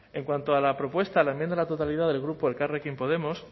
en cuanto a la propuesta la enmienda a la totalidad del grupo elkarrekin podemos